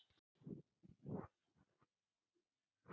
Háskóli Íslands var í upphafi til húsa á neðri hæð Alþingishússins.